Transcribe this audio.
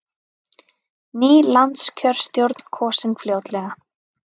Ný landskjörstjórn kosin fljótlega